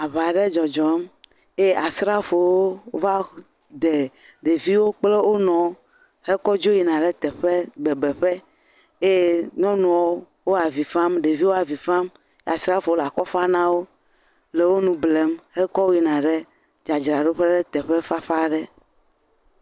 Aŋa aɖe dzɔdzɔm eye asrafowo wova de ɖeviwo kple wonuiwo hekɔ dzo yi na ɖe bebeƒe eye nyɔnuawo wo avi fam, ɖeviwo avi fam, asrafowo le akɔfam na wo le wo nu blem hekɔ wo yina ɖe dzradraɖoƒe ɖe teƒe fafa aɖe.